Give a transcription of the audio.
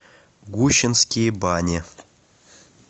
гущинские бани